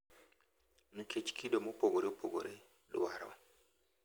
Nikech kido mopogore opogore, dwaro,